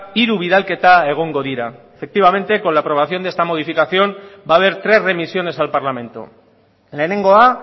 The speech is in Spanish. hiru bidalketa egongo dira efectivamente con la aprobación de esta modificación va a haber tres remisiones al parlamento lehenengoa